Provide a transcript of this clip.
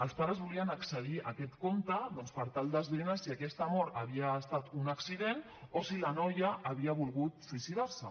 els pares volien accedir a aquest compte doncs per tal d’esbrinar si aquesta mort havia estat un accident o si la noia havia volgut suïcidar se